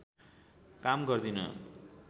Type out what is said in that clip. काम गर्दिन